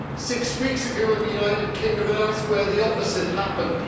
Six weeks ago in the United Kingdom and elsewhere, the opposite happened.